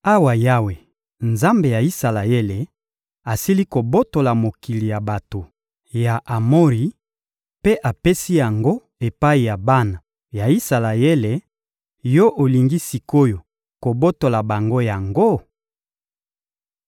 Awa Yawe, Nzambe ya Isalaele, asili kobotola mokili ya bato ya Amori mpe apesi yango epai ya bana ya Isalaele, yo olingi sik’oyo kobotola bango yango?